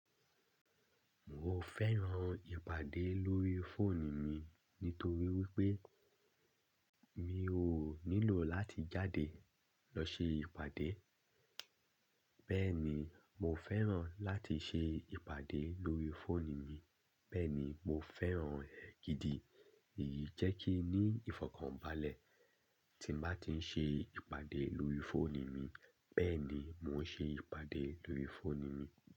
Mo fẹ́ran ìpàdé lórí fóònù mi nítorí wípé mi o nílò láti jáde lọ ṣe ìpàdé. Bẹ́ẹ̀ ni, mo fẹ́ran láti ṣe ìpàdé lórí fóònù mi, bẹ́ẹ̀ ni, mo fẹ́ran rẹ̀ gidi. Èyí jẹ́ kí ní ìfọ̀kànbalẹ̀ tí m bá ti ń ṣe ìpàdé lórí fóònù mi, bẹ́ẹ̀ ni mo ń ṣe ìpàdé lórí fóònù mi.